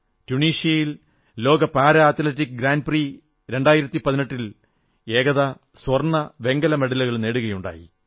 ടുണീഷ്യയിൽ ലോക para athletic grand prix 2018 ൽ ഏകത സ്വർണ്ണ വെങ്കല മെഡലുകൾ നേടുകയുണ്ടായി